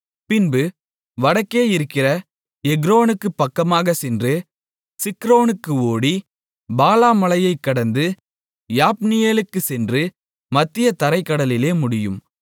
1 பின்பு வடக்கே இருக்கிற எக்ரோனுக்குப் பக்கமாகச் சென்று சிக்ரோனுக்கு ஓடி பாலாமலையைக் கடந்து யாப்னியேலுக்குச் சென்று மத்திய தரைக் கடலிலே முடியும்